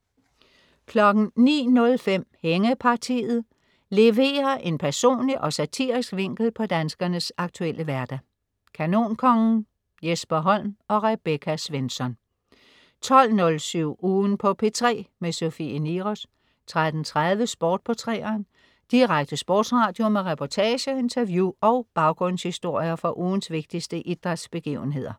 09.05 Hængepartiet. Leverer en personlig og satirisk vinkel på danskernes aktuelle hverdag. Kanonkongen, Jesper Holm og Rebecca Svensson 12.07 Ugen på P3. Sofie Niros 13.30 Sport på 3'eren. Direkte sportsradio med reportager, interview og baggrundshistorier fra ugens vigtigste idrætsbegivenheder